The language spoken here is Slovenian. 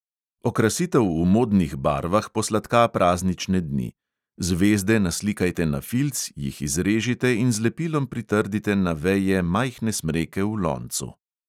Okrasitev v modnih barvah posladka praznične dni: zvezde naslikajte na filc, jih izrežite in z lepilom pritrdite na veje majhne smreke v loncu.